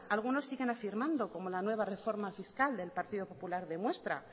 algunos siguen afirmando como la nueva reforma fiscal que el partido popular demuestra